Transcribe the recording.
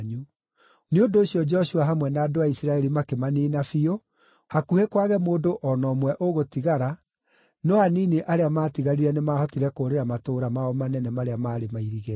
Nĩ ũndũ ũcio Joshua hamwe na andũ a Isiraeli makĩmaniina biũ, hakuhĩ kwage mũndũ o na ũmwe ũgũtigara, no anini arĩa maatigarire nĩmahotire kũũrĩra matũũra mao manene marĩa maarĩ mairigĩre.